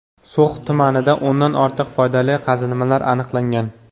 So‘x tumanida o‘ndan ortiq foydali qazilmalar aniqlangan.